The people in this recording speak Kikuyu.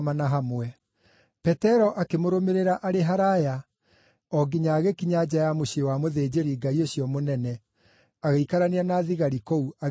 Petero akĩmũrũmĩrĩra arĩ haraaya o nginya agĩkinya nja ya mũciĩ wa mũthĩnjĩri-Ngai ũcio mũnene. Agĩikarania na thigari kũu agĩota mwaki.